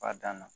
B'a dan na